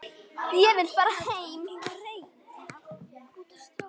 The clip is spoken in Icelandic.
Ég vil fara heim.